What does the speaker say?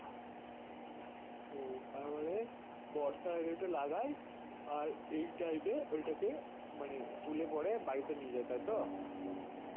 ও তার মানে বর্ষার আগে ঐটা লাগাই আর এই time এ ফসল ওই তা কে মানে তুলে পরে বাড়িতে নিয়ে যাই তাইতো